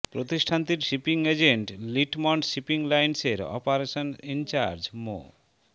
প্রতিষ্ঠানটির shipping agent Litmond shipping লাইনসের operation in charge মো